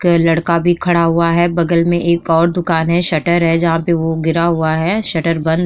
कै लड़का भी खड़ा हुआ है बगल में एक और दुकान है शटर है जहाँ पे वो गिरा हुआ है शटर बंद --